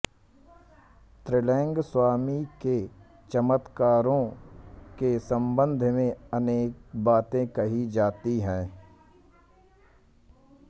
त्रैलंग स्वामी के चमत्कारों के सम्बन्ध में अनेक बाते कही जाती हैं